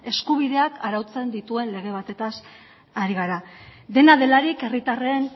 eskubideak arautzen dituen lege batetaz ari gara dena delarik herritarren